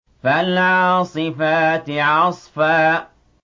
فَالْعَاصِفَاتِ عَصْفًا